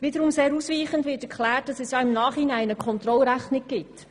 Wiederum sehr ausweichend wird erklärt, dass es im Nachhinein eine Kontrollrechnung gibt.